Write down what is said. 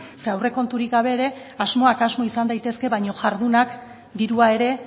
zeren aurrekonturik gabe ere asmoak asmo izan daiteke baina jarduna dirua ere